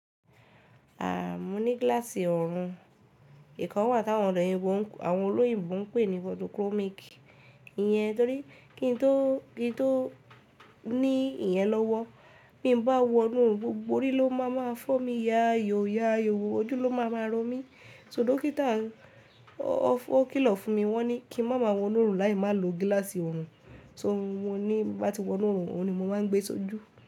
À, mo ní glass ọ̀orun mi. Ìkàn wa tàwọn ọ̀de òyìnbó, àwọn olóyìnbo ń pè ní photochromic. Ìyẹn torí kí n tó, kí n tó ní ìyẹn lọ́wọ́, bí mo bá wọnú orun, gbogbo orí ló máa máa fọ́ mi, ya ayò, ya ayò, ojú ló máa máa ro mí. So dókítà ó, ó kìlọ̀ fún mi, wọ́n ni kí n má má wọnú orùn láì má lo gílàsì ọ̀run. So, mo ní, bá ti wọnú orùn, òun ni mo máa ń gbé sójú.